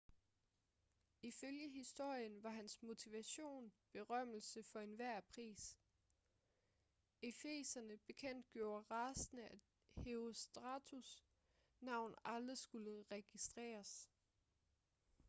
ifølge historien var hans motivation berømmelse for enhver pris efeserne bekendtgjorde rasende at herostratus' navn aldrig skulle registreres